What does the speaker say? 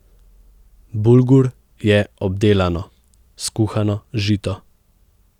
Bulgur je obdelano, skuhano žito.